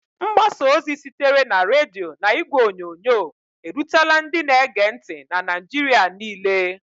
Mgbasa ozi sitere na redio na igwe onyonyo, erutela ndị na-ege ntị na Naịjirịa niile.